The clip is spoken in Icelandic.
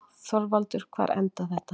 ÞORVALDUR: Hvar endar þetta?